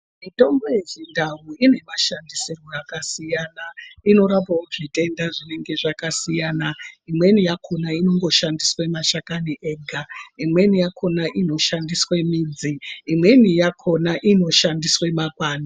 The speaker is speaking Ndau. Mitombo yechindau inoshandiswa zvakasiyana imweni inorapawo zvitenda zvinenge zvakasiyana, imweni yakona inongoshandiswa mashakani ega , imweni yakona inoshandiswa midzi imweni yakona inoshandiswawo makwande.